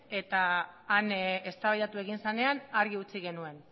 eta han eztabaidatu egin zenean argi utzi genuen